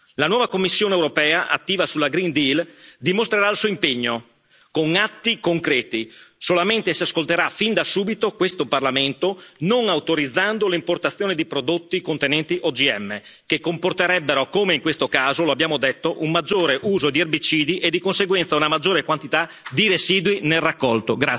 La nuova Commissione europea, attiva sul Green Deal dimostrerà il suo impegno con atti concreti solamente se ascolterà fin da subito questo Parlamento, non autorizzando l'importazione di prodotti contenenti OGM che comporterebbero, come in questo caso, lo abbiamo detto, un maggiore uso di erbicidi e di conseguenza una maggiore quantità di residui nel raccolto.